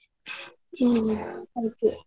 ಹ್ಮ್ ಹಾಗೆ.